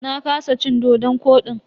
Na kasa cin dodon kodin.